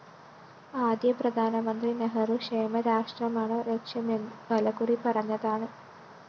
ആദ്യ പ്രധാനമന്ത്രി നെഹ്രു ക്ഷേമരാഷ്ട്രമാണ് ലക്ഷ്യമെന്ന് പലകുറി പറഞ്ഞതാണ്